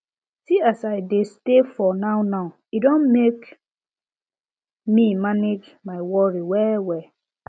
see as i dey stay for nownow e don make me manage my worry wellwell